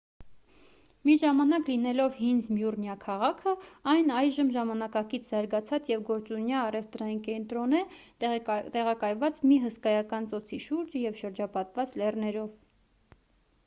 մի ժամանակ լինելով հին զմյուռնիա քաղաքը այն այժմ ժամանակակից զարգացած և գործունյա առևտրային կենտրոն է տեղակայված մի հսկայական ծոցի շուրջը և շրջապատված լեռներով